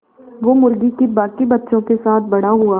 वो मुर्गी के बांकी बच्चों के साथ बड़ा हुआ